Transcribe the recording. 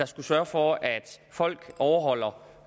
skulle sørge for at folk overholder